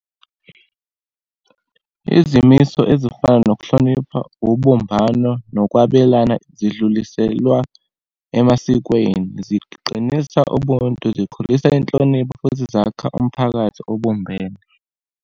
Izimiso ezifana nokuhlonipha, ubumbano, nokwabelana, sidluliselwa emasikweni, ziqinisa ubuntu, zikhulisa inhlonipho, futhi zakha umphakathi obumbene.